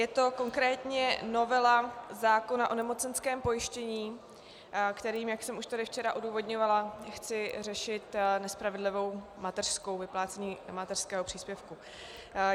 Je to konkrétně novela zákona o nemocenském pojištění, kterým, jak jsem tady již včera odůvodňovala, chci řešit nespravedlivou mateřskou, vyplácení mateřského příspěvku.